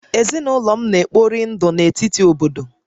Ezinụlọ m na-ekpori ndụ na-ekpori ndụ na etiti obodo